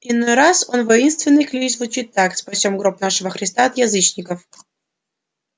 иной раз их воинственный клич звучит так спасём гроб нашего христа от язычников